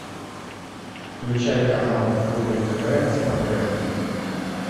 включай канал рубль тв на смотрешке